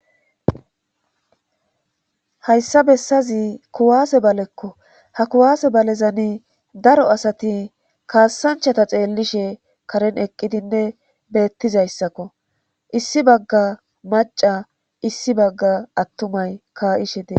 Hayssa bessazi kuwaase balekko ha kuwaase balezani daro asati kaassanchata xeellishe karen eqqidinne beettizayssakko issi bagga maca issi bagga attumay kaa'ishe dee